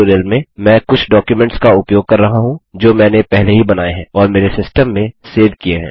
इस ट्यूटोरियम में मैं कुछ डॉक्युमेंट्स का उपयोग कर रहा हूँ जो मैंने पहले ही बनाये हैं और मेरे सिस्टम में सेव किये हैं